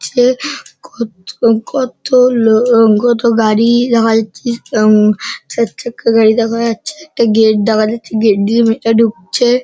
যে কত কত লোক কত গাড়ি-ই দেখা যাচ্ছে এবং চারচাকা গাড়ি দেখা যাচ্ছে একটা গেট দেখা যাচ্ছে গেট দিয়ে মেয়েটা ঢুকছে।